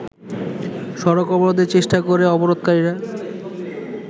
সড়ক অবরোধের চেষ্টা করে অবরোধকারীর